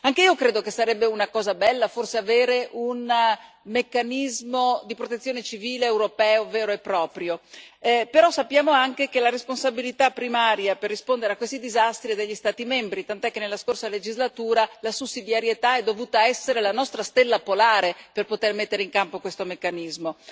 Anch'io credo che sarebbe una cosa bella, forse, avere un meccanismo di protezione civile europeo vero e proprio, però sappiamo anche che la responsabilità primaria per rispondere a questi disastri è degli Stati membri, tant'è che nella scorsa legislatura la sussidiarietà ha dovuto essere la nostra stella polare per poter mettere in campo questo meccanismo.